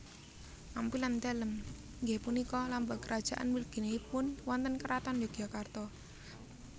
Ampilan dalem inggih punika lambang kerajaan mliginipun wonten Kraton Yogyakarta